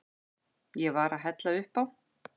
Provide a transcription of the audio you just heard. Ég var að hella upp á.